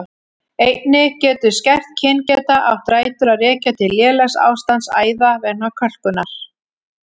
Einnig getur skert kyngeta átt rætur að rekja til lélegs ástands æða vegna kölkunar.